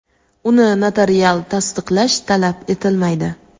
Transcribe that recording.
uni notarial tasdiqlash talab etilmaydi.